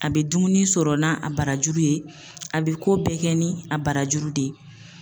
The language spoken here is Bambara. A be dumuni sɔrɔ n'a a barajuru ye a be ko bɛɛ kɛ ni a barajuru de ye